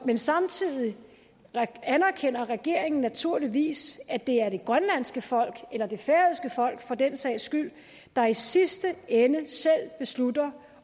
men samtidig anerkender regeringen naturligvis at det er det grønlandske folk eller det færøske folk for den sags skyld der i sidste ende selv beslutter